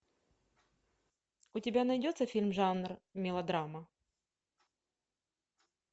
у тебя найдется фильм жанр мелодрама